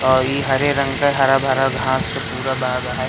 ओ ई हरे रंग का हरा भरा घास का पूरा बाग है।